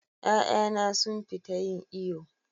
Ƴa'ƴana sun fita yin iyo.